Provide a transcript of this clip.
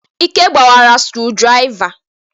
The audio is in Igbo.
Ike gbawara screwdriver.